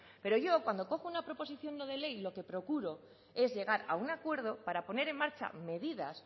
pero yo cuando cojo una proposición no de ley y lo que procuro es llegar a un acuerdo para poner en marcha medidas